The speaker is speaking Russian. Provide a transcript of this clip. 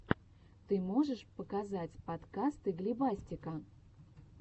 ты можешь показать подкасты глебастика